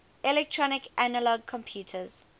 electronic analog computers